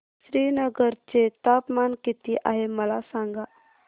श्रीनगर चे तापमान किती आहे मला सांगा